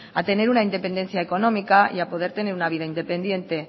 a tener una independencia económica y a poder tener una vida independiente